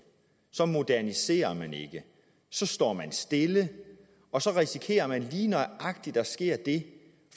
så moderniserer man ikke så står man stille og så risikerer man lige nøjagtig at der sker det